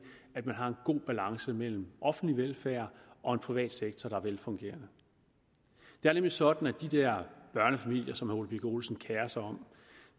at man har en god balance mellem offentlig velfærd og en privat sektor der er velfungerende det er nemlig sådan med de der børnefamilier som herre ole birk olesen kerer sig om